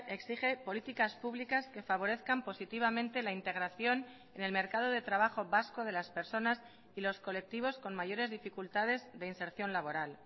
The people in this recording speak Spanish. exige políticas públicas que favorezcan positivamente la integración en el mercado de trabajo vasco de las personas y los colectivos con mayores dificultades de inserción laboral